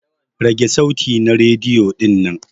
Rage sauti na rediyo dinnan!